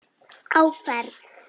Á ferð